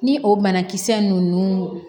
Ni o banakisɛ ninnu